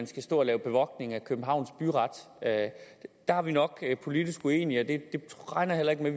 skal stå og lave bevogtning af københavns byret der er vi nok politisk uenige jeg regner heller ikke med